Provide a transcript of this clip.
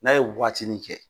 N'a ye waatinin kɛ